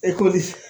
E